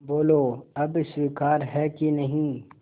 बोलो अब स्वीकार है कि नहीं